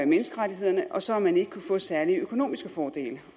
menneskerettighederne og så har man ikke kunnet få særlige økonomiske fordele